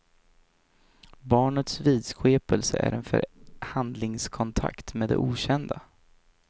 Barnets vidskepelse är en förhandlingskontakt med det okända.